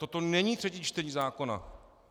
Toto není třetí čtení zákona.